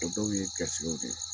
O dɔw ye garisikɛw de ye.